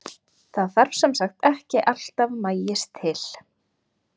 Það þarf sem sagt ekki alltaf maís til.